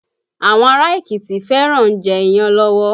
Àwọn ará Èkìtì fẹ́ràn ń jẹ́ iyán lọ́wọ́